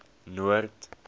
noord